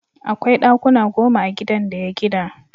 Akwai ɗakuna goma a gidan da ya gina.